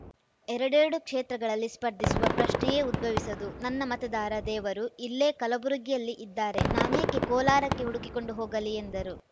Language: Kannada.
ಎರಡೆರಡು ಕ್ಷೇತ್ರಗಳಲ್ಲಿ ಸ್ಪರ್ಧಿಸುವ ಪ್ರಶ್ನೆಯೇ ಉದ್ಭವಿಸದು ನನ್ನ ಮತದಾರ ದೇವರು ಇಲ್ಲೇ ಕಲಬುರಗಿಯಲ್ಲೇ ಇದ್ದಾರೆ ನಾನೇಕೆ ಕೋಲಾರಕ್ಕೆ ಹುಡುಕಿ ಕೊಂಡು ಹೋಗಲಿ ಎಂದರು